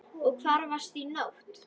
Og hvar varstu í nótt?